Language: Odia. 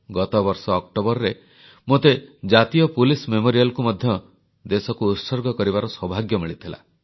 ଗତବର୍ଷ ଅକ୍ଟୋବରରେ ମୋତେ ଜାତୀୟ ପୁଲିସ ମେମୋରିଆଲକୁ ମଧ୍ୟ ଦେଶ ପାଇଁ ଉତ୍ସର୍ଗ କରିବାର ସୌଭାଗ୍ୟ ମିଳିଥିଲା